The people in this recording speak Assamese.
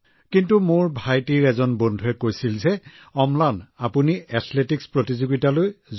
কিন্তু ভাইটিৰ এজন বন্ধু থকাৰ বাবে তেওঁ মোক কলে যে অম্লান তুমি এথলেটিকছ প্ৰতিযোগিতাৰ বাবে যাব লাগে